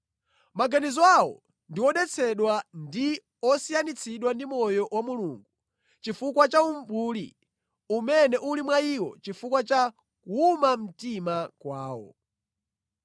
Maganizo awo ndi odetsedwa, ndi osiyanitsidwa ndi moyo wa Mulungu chifukwa cha umbuli umene uli mwa iwo chifukwa cha kuwuma mtima kwawo.